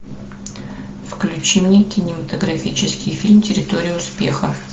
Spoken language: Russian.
включи мне кинематографический фильм территория успеха